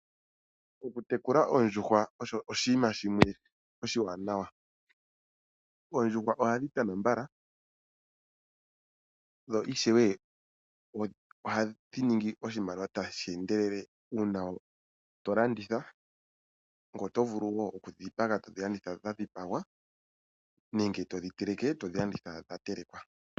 Okutekula oondjuhwa osho oshinima shimwe oshiwanawa. Oondjuhwa ohadhi tana mbala, dho ishewe ohadhi ningi oshimaliwa tashi endelele uuna tolanditha, ngoye oto vulu wo okudhipaga, tolanditha dhadhipagwa nenge todhi teleke tolanditha dhatelekwa.